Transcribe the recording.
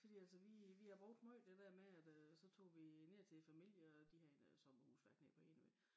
Fordi altså vi vi har brugt meget det meget det dér med at øh så tog vi ned til familie øh og de havde noget sommerhusværk nede på Enø